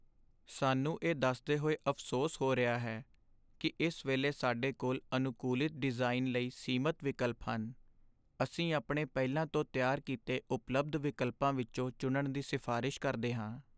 ਸਾਨੂੰ ਇਹ ਦੱਸਦੇ ਹੋਏ ਅਫ਼ਸੋਸ ਹੋ ਰਿਹਾ ਹੈ ਕਿ ਇਸ ਵੇਲੇ ਸਾਡੇ ਕੋਲ ਅਨੁਕੂਲਿਤ ਡਿਜ਼ਾਈਨ ਲਈ ਸੀਮਤ ਵਿਕਲਪ ਹਨ। ਅਸੀਂ ਆਪਣੇ ਪਹਿਲਾਂ ਤੋਂ ਤਿਆਰ ਕੀਤੇ ਉਪਲਬਧ ਵਿਕਲਪਾਂ ਵਿੱਚੋਂ ਚੁਣਨ ਦੀ ਸਿਫਾਰਸ਼ ਕਰਦੇ ਹਾਂ।